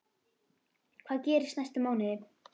Hvað gerist næstu mánuði?